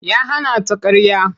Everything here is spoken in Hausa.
Ya hana ta ƙarya.